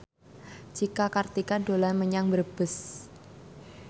Cika Kartika dolan menyang Brebes